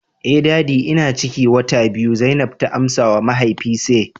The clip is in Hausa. eh daddy ina ciki wata biyu zainab ta amsawa mahaifi say